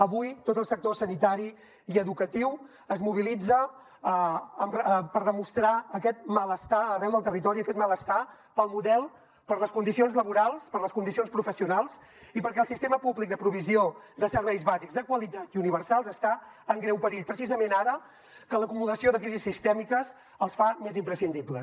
avui els sectors sanitari i educatiu es mobilitzen per demostrar aquest malestar arreu del territori aquest malestar pel model per les condicions laborals per les condicions professionals i perquè el sistema públic de provisió de serveis bàsics de qualitat i universals està en greu perill precisament ara que l’acumulació de crisis sistèmiques els fa més imprescindibles